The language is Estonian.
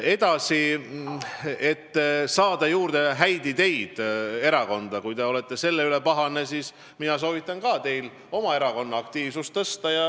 Erakonda on vaja saada juurde häid ideid ja kui te olete selle üle pahane, siis mina soovitan ka teil oma erakonna aktiivsust tõsta.